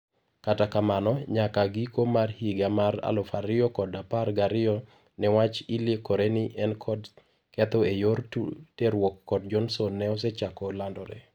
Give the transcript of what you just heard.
Kata kamano, nyaka ngiko mar higa mar alufu ariyo kod apar gariyo ne wach liekore ni enkod ketho eyor terruok kod Johnson ne osechako landore.